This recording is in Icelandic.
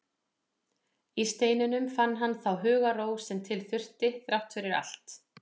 Í steininum fann hann þá hugarró sem til þurfti, þrátt fyrir allt.